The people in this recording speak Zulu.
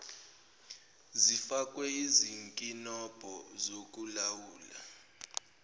zifakwe izinkinobho zokulawula